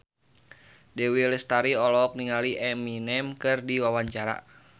Dewi Lestari olohok ningali Eminem keur diwawancara